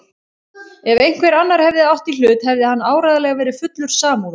Ef einhver annar hefði átt í hlut hefði hann áreiðanlega verið fullur samúðar.